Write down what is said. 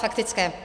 Faktické.